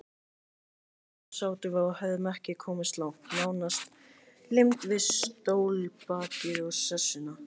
Þarna sátum við og höfðum ekki komist langt, nánast límd við stólbakið og sessuna.